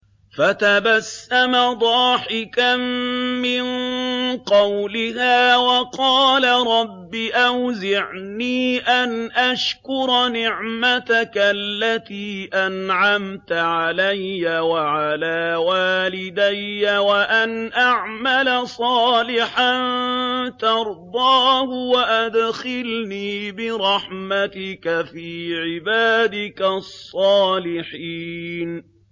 فَتَبَسَّمَ ضَاحِكًا مِّن قَوْلِهَا وَقَالَ رَبِّ أَوْزِعْنِي أَنْ أَشْكُرَ نِعْمَتَكَ الَّتِي أَنْعَمْتَ عَلَيَّ وَعَلَىٰ وَالِدَيَّ وَأَنْ أَعْمَلَ صَالِحًا تَرْضَاهُ وَأَدْخِلْنِي بِرَحْمَتِكَ فِي عِبَادِكَ الصَّالِحِينَ